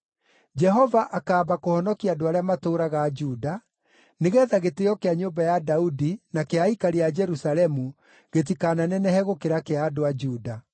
“Jehova akaamba kũhonokia andũ arĩa matũũraga Juda, nĩgeetha gĩtĩĩo kĩa nyũmba ya Daudi na kĩa aikari a Jerusalemu gĩtikananenehe gũkĩra kĩa andũ a Juda.